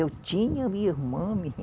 Eu tinha minha irmã.